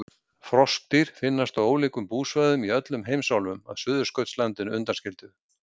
Froskdýr finnast á ólíkum búsvæðum í öllum heimsálfum að Suðurskautslandinu undanskildu.